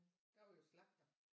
Der var jo slagter